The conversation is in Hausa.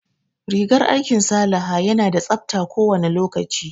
Rigar aikin Salaha ya na da tsabta kowane lokaci